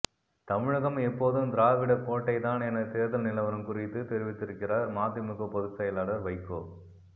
தமிழகம் எப்போதும் திராவிட கோட்டை தான் என தேர்தல் நிலவரம் குறித்து தெரிவித்திருக்கிறார் மதிமுக பொதுச்செயலாளர் வைகோ